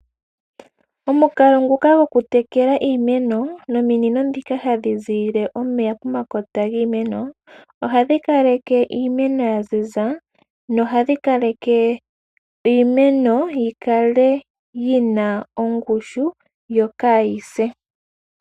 Omukalo nguka gokutekela iimeno nominino ndhika hadhi ziiyile omeya pomakota giimeno ohadhi kaleke iimeno ya ziza nohadhi kaleke iimeno yi kale yi na ongushu yo kaayi se.